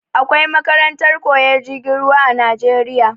Akwai makarantar koyan jirgin ruwa a najeriya